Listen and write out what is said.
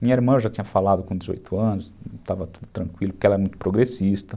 Minha irmã eu já tinha falado com dezoito anos, estava tudo tranquilo, porque ela é muito progressista.